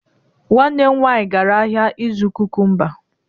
Nwanne m nwaanyị gara ahịa ịzụ kukumba.